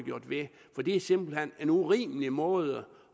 ved for det er simpelt hen en urimelig måde